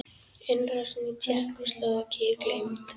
Innrásin í Tékkóslóvakíu gleymd?